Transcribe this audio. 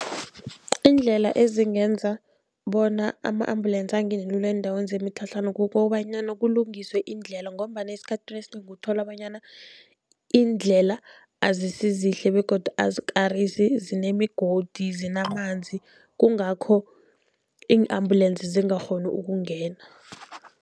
Iindlela ezingenza bona ama-ambulensi angene lula eendaweni zemitlhatlhana kukobanyana kulungiswe iindlela, ngombana esikhathini esinengi uthola bonyana iindlela azisizihle begodu azikarisi zinemigodi, zinamanzi kungakho ii-ambulensi zingakghoni ukungena.